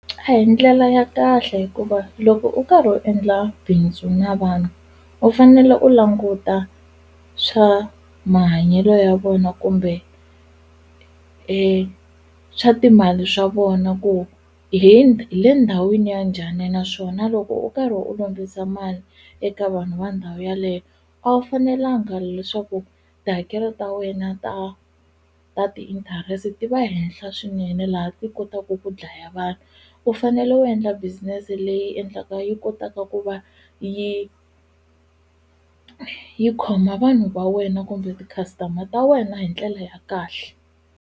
A hi ndlela ya kahle hikuva loko u karhi u endla bindzu na vanhu u fanele u languta swa mahanyelo ya vona kumbe e swa timali swa vona ku hi le ndhawini ya njhani naswona loko u karhi u lombisa mali eka vanhu va ndhawu yaleyo a wu fanelanga leswaku tihakelo ta wena ta ta ti-interest ti va henhla swinene laha ti kotaka ku dlaya vanhu u fanele u endla business leyi endlaka yi kotaka ku va yi yi khoma vanhu va wena kumbe ti-customer ta wena hi ndlela ya kahle.